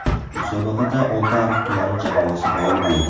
Musobaqada Oltiariq tumani jamoasi g‘olib bo‘ldi.